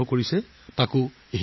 আৰু সেইটোও হিন্দীত